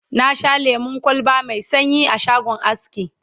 na Sha lemun kwalba Mai sanyi a shagon aski